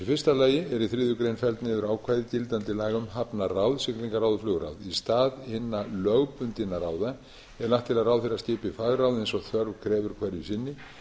fyrsta lagi eru í þriðju grein felld niður ákvæði gildandi laga um hafnaráð siglingaráð og flugráð í stað hinna lögbundnu ráða er lagt til að ráðherra skipi fagráð eins og þörf krefur hverju sinni